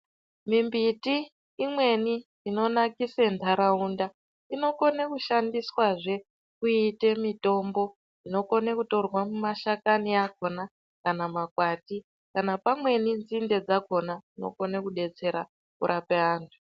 Mimbiti imweni inonakise ndaraunda inokone kushandiswa zvee kuite mitombo inokone kutore nemashakani akona kana makwati kana pamweni nzinde dzakona dzinokone kubetsera kurape anhu.